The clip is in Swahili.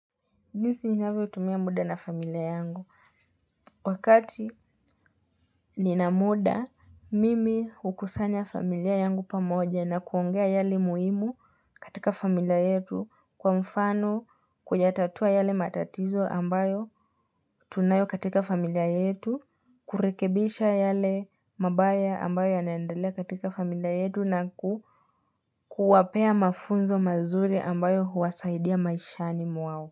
Jinsi ninavyotumia mda na familia yangu. Wakati nina mda, mimi hukusanya familia yangu pamoja na kuongea yale muhimu katika familia yetu kwa mfano kuyatatua yale matatizo ambayo tunayo katika familia yetu, kurekebisha yale mabaya ambayo yanaendele katika familia yetu na ku kuwapea mafunzo mazuri ambayo huwasaidia maishani mwao.